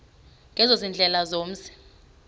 ezo ziindlela zomzi